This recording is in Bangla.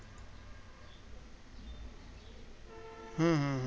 হুম হুম হুম